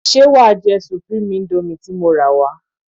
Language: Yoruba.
Ṣé wá jẹ supreme indomie ti mo rà wá?